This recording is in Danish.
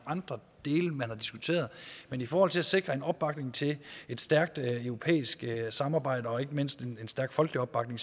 andre dele man har diskuteret men i forhold til at sikre en opbakning til et stærkt europæisk samarbejde og ikke mindst en stærk folkelig opbakning